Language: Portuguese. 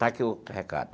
Está aqui o recado.